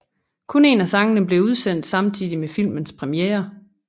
Kun en af sangene blev udsendt samtidig med filmens premiere